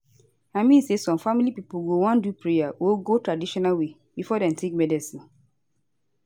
I mean say some family people go wan do prayer go go traditional way before dem think medicine